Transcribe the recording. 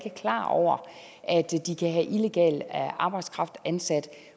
er klar over at de kan have illegal arbejdskraft ansat